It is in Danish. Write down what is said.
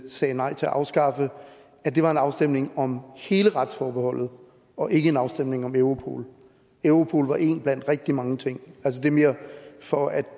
sagde nej til at afskaffe var en afstemning om hele retsforbeholdet og ikke en afstemning om europol europol var én blandt rigtig mange ting det er mere for at